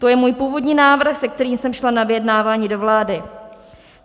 To je můj původní návrh, se kterým jsem šla na vyjednávání do vlády.